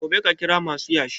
Gobe ka kira masu yashi